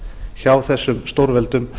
hjá þessum stórveldum